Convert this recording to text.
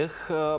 Biz də əlayıq.